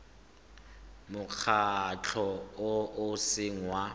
mokgatlho o o seng wa